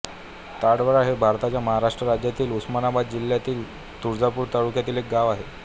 ताडवळा हे भारताच्या महाराष्ट्र राज्यातील उस्मानाबाद जिल्ह्यातील तुळजापूर तालुक्यातील एक गाव आहे